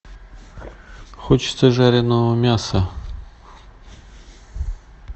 хочется жареного мяса